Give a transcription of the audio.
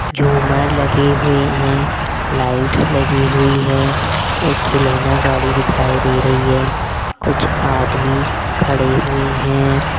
झूमर लगी हुई है लाइट लगी हुई है एक खिलौना गाड़ी दिखाई दे रही है कुछ आदमी खड़े हुए हैं।